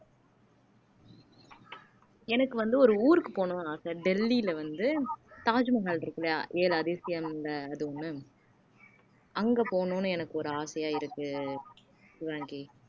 எனக்கு வந்து ஒரு ஊருக்கு போகணும்னு ஆசை டெல்லியில வந்து தாஜ்மஹால் இருக்கில்லையா ஏழு அதிசயம்ல அந்த அது ஒண்ணு அங்க போகணும்னு எனக்கு ஒரு ஆசையா இருக்கு ஷிவாங்கி